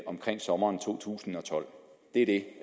omkring sommeren to tusind og tolv det er det